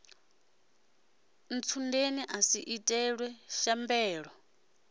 ntsundeni a si itelwe shambela